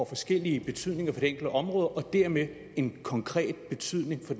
forskellige betydninger for det enkelte område og dermed en konkret betydning for